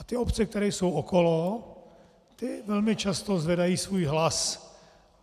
A ty obce, které jsou okolo, ty velmi často zvedají svůj hlas.